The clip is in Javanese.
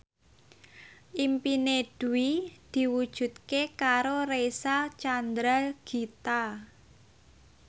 impine Dwi diwujudke karo Reysa Chandragitta